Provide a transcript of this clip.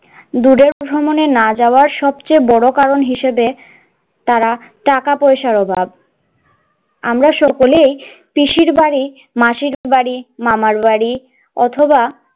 দূরের ভ্রমণে না যাওয়ার সবচেয়ে বড় কারণ হিসাবে তারা টাকা পয়সার অভাব, আমরা সকলেই পিসির বাড়ি মাসির বাড়ি মামার বাড়ি অথবা,